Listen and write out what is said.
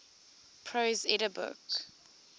prose edda book